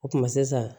O tuma sisan